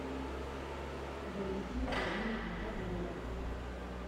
валентина владимировна козлова